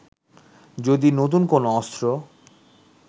যদি নতুন কোন অস্ত্র